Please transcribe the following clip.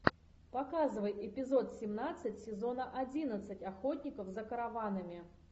показывай эпизод семнадцать сезона одиннадцать охотников за караванами